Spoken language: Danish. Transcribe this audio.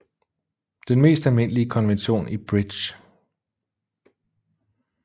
Den mest almindelige konvention i Bridge